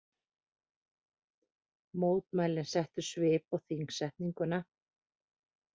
Mótmælin settu svip á þingsetninguna